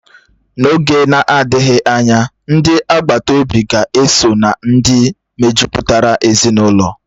N'oge na-adịghị anya, ndi agbata obi ga-esó na ndị mejupụtara ezinụlọ